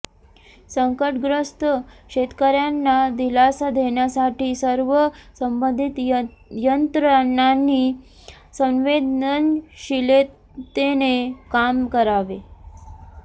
संकटग्रस्त शेतकर्यांना दिलासा देण्यासाठी सर्व संबंधित यंत्रणांनी संवेदनशिलतेने काम करावे